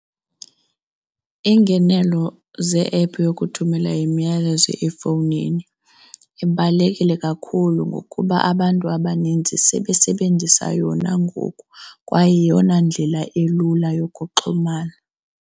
Iingenelo ze-ephu yokuthumela umyalezo efowunini ibalulekile kakhulu ngokuba abantu abaninzi sebesebenzisa yona ngoku kwaye yeyona ndlela elula yokuxhumana.